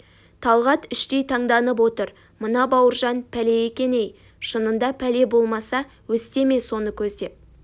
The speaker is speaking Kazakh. талғат іштей таңданып отыр мына бауыржан пәле екен ей шынында пәле болмаса өсте ме соны көздеп